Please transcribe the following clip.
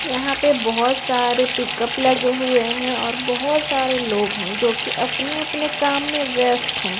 यहां पे बहुत सारे पिकअप लगे हुए हैं और बहुत सारे लोग हैं जो कि अपने-अपने काम में व्यस्त है।